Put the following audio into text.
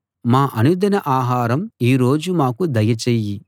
మా అనుదిన ఆహారం ఈ రోజు మాకు దయచెయ్యి